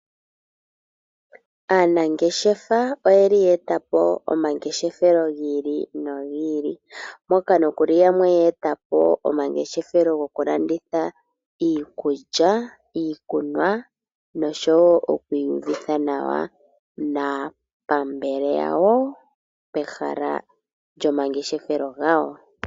Aanangeshefa oyeli ya etapo omangeshefelo gi ili nogi ili, moka nokuli yamwe ya etapo omangeshefelo gokulanditha iikulya, iikunwa noshowo oku iyuvitha nawa naapambele yawo pehala lyomangeshefelo gawo.